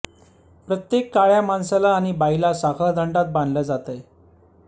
प्रत्येक काळ्या माणसाला आणि बाईला साखळदंडात बांधल जातय